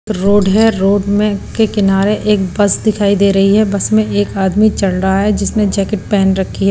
Road है road में के किनारे एक बस दिखाई दे रही है बस में एक आदमी चढ़ रहा है जिसने जैकेट पहन रखी है।